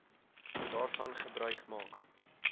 daarvan gebruik maak